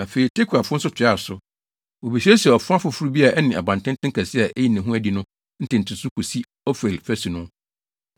Afei, Tekoafo nso toaa so. Wobesiesiee ɔfa foforo bi a ɛne abantenten kɛse a eyi ne ho adi no ntentenso kosi Ofel fasu no.